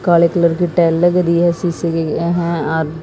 काले कलर की टाइल लग रही शीशे की यहां और--